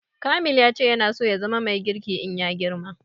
Kamil ya ce yana so ya zama mai girki in ya girma